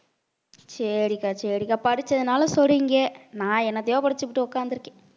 சரிக்கா சரிக்கா படிச்சதுனால சொல்றீங்க நான் என்னத்தையோ படிச்சுபுட்டு உட்கார்ந்து இருக்கேன்